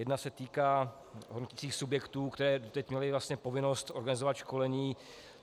Jedna se týká hodnoticích subjektů, které doteď měly povinnost organizovat školení.